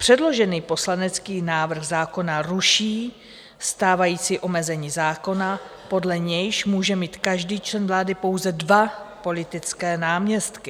Předložený poslanecký návrh zákona ruší stávající omezení zákona, podle nějž může mít každý člen vlády pouze dva politické náměstky.